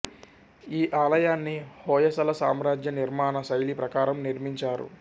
ఈ ఆలయాన్ని హొయసల సామ్రాజ్య నిర్మాణ శైలి ప్రకారం నిర్మించారు